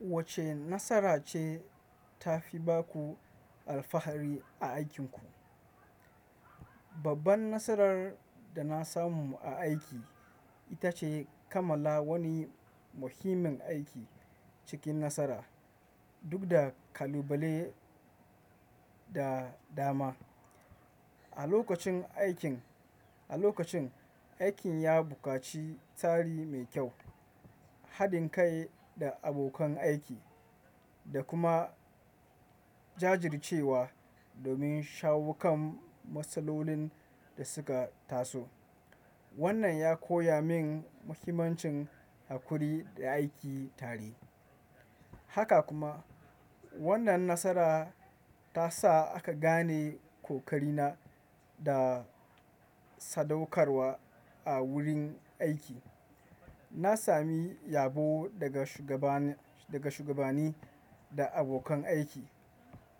Wacce nasara ce tafi ba ku alfahari a aikinku? Babban nasarar da na samu a aiki ita ce kammala wani muhimmin aiki cikin nasara, duk da kalubale da dama. A lokacin, aikin ya buƙaci tsari mai kyau, haɗin kai da abokan aiki, da kuma jajircewa domin shawo kan matsalolin da suka taso. Wannan ya koya min muhimmancin haƙuri da aiki tare. Haka kuma, wannan nasara ta sa aka gane ƙoƙarina da sadaukarwa a wurin aiki. Na sami yabo daga shugabanni da abokan aiki,